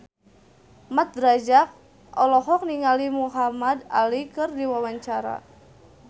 Mat Drajat olohok ningali Muhamad Ali keur diwawancara